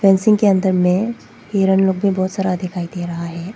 इसी के अंदर में हिरण लोग भी बहुत सारा दिखाई दे रहा है।